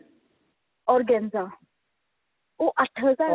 organza ਉਹ ਅੱਠ ਹਜ਼ਾਰ